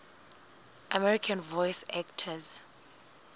american voice actors